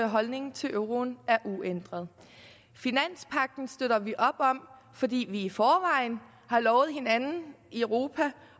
holdning til euroen er uændret finanspagten støtter vi op om fordi vi i forvejen har lovet hinanden i europa